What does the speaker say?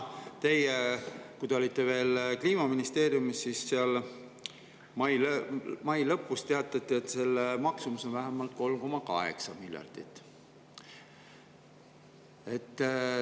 Teie olite veel Kliimaministeeriumis, kui sealt mai lõpus teatati, et maksumus on vähemalt 3,8 miljardit.